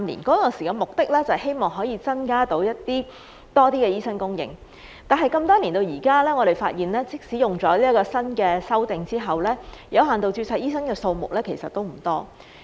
當時的目的是希望可以增加醫生的供應，但那麼多年後到現在，我們發現即使有了該項修訂之後，有限度註冊醫生的數目其實也不多。